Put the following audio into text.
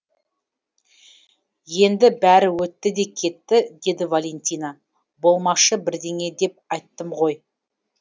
енді бәрі өтті де кетті деді валентина болмашы бірдеңе деп айттым ғой